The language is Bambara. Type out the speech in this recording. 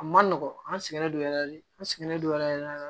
A ma nɔgɔn an sɛgɛn don yɛrɛ de an sɛgɛnnen don yɛrɛ yɛrɛ yɛrɛ